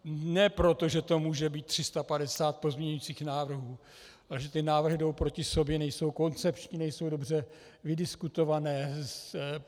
Ne proto, že to může být 350 pozměňujících návrhů, ale že ty návrhy jdou proti sobě, nejsou koncepční, nejsou dobře vydiskutované.